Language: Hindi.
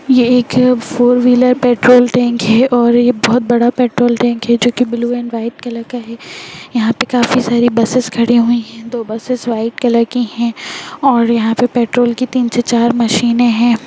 ये एक फोर व्हीलर पेट्रोल टेन्क है और ये बहुत बड़ा पेट्रोल टेन्क है जो की ब्लू एण्ड व्हाइट कलर का है यहाँ पे काफी सारी बसेस खड़ी हुई है दो बसेस व्हाइट कलर के है और यहाँ पे पेट्रोल की तीन से चार मशीने है।